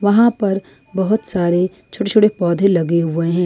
वहां पर बहोत सारे छोटे छोटे पौधे लगे हुए हैं।